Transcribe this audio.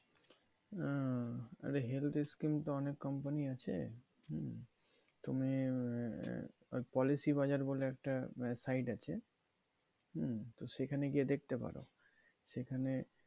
আহ আরে health এর scheme তো অনেক company আছে হম তুমি আহ policy Bazar বলে একটা site আছে হুম, তো সেখানে গিয়ে দেখতে পারো সেখানে,